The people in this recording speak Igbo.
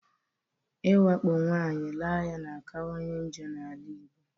Iwakpo nwaanyị raa ya na akawanye njọ na-ala Igbo.